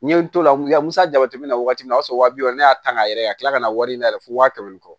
N ye n to la musa jateminɛ na waati min na o y'a sɔrɔ waa bi wɔɔrɔ ne y'a ta k'a yɛrɛ ka kila ka na wari ɲini a yɛrɛ ye fo waa kɛmɛ ni kɔ